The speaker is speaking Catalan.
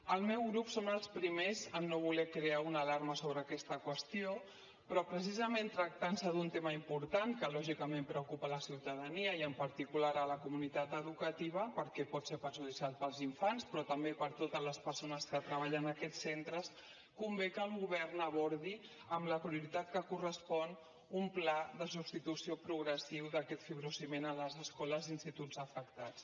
el meu grup som els primers en no voler crear una alarma sobre aquesta qüestió però precisament tractant se d’un tema important que lògicament preocupa la ciutadania i en particular la comunitat educativa perquè pot ser perjudicial per als infants però també per a totes les persones que treballen en aquests centres convé que el govern abordi amb la prioritat que correspon un pla de substitució progressiva d’aquest fibrociment a les escoles i instituts afectats